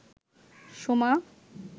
Soma